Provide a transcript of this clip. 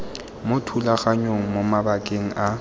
mo thulaganyong mo mabakeng a